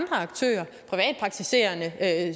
af